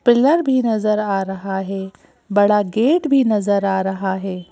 Pillar भी नज़र आ रहा है बड़ा गेट भी नज़र आ रहा है।